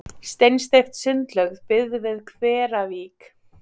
Steinsteypt sundlaug byggð við Hveravík í